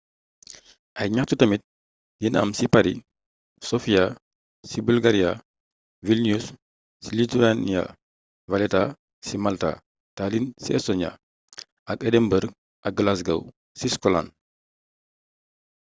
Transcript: ay gnaxtu tamit dina am ci paris sofia ci bulgaria vilnius ci lithuania valetta ci malta tallinn ci estonia ak edinburgh ak glasgow ci scotland